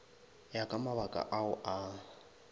ya ka mabaka ao a